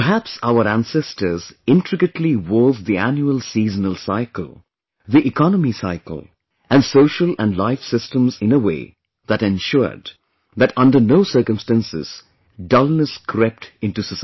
Perhaps our ancestors intricately wove the annual seasonal cycle, the economy cycle and social & life systems in a way that ensured, that under no circumstances, dullness crept into society